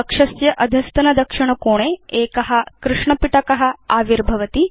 कक्षस्य अधस्तन दक्षिण कोणे एक कृष्णपिटक आविर्भवति